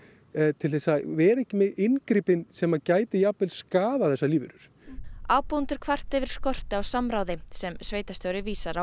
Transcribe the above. til að vera ekki með inngripin sem gætu jafnvel skaðað þessar lífverur ábúendur kvarta yfir skorti á samráði en sveitarstjóri vísar